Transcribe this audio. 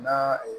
Na